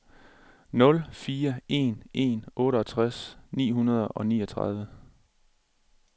nul fire en en otteogtres ni hundrede og niogtredive